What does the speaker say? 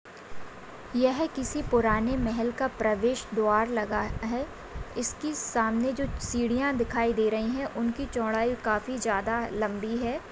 यह किसी पुराने महल का प्रवेश द्वार लगा है इसकी सामने जो सीढ़ियां दिखाई दे रही है उनकी चोड़ाई काफी ज्यादा लंबी है।